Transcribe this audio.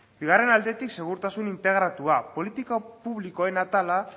bigarren aldetik segurtasun integratua politika publikoen atala